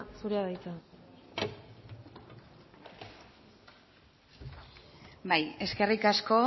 zurea da hitza bai eskerrik asko